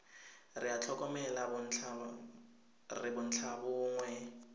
re a tlhokomela re bontlhabongwe